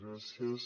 gràcies